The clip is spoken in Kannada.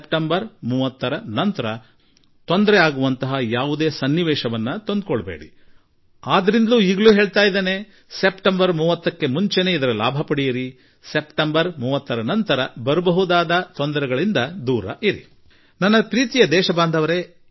ಸೆಪ್ಟೆಂಬರ್ 30ರ ನಂತರ ಈ ರೀತಿ ನಿಮಗೆ ತೊಂದರೆಯಾಗದಿರಲಿ ಎಂದು ಸೆಪ್ಟೆಂಬರ್ 30ರೊಳಗೆ ಈ ಅವಕಾಶದ ಲಾಭ ಪಡೆದುಕೊಂಡರೆ ಒಳ್ಳೆಯದು ಎಂದು ಹಾಗೂ ಅದಾದ ನಂತರ ಉಂಟಾಗಬಹುದಾದ ಸಂಭವನೀಯ ಕಷ್ಟಗಳಿಂದ ನಿಮ್ಮನ್ನು ನೀವೇ ರಕ್ಷಿಸಿಕೊಳ್ಳಿ ಎಂದು ನಾನು ಜನರಿಗೆ ತಿಳಿಸಬಯಸುತ್ತೇನೆ